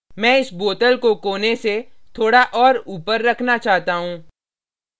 मैं इस bottle को कोने से थोड़ा और ऊपर रखना चाहता हूँ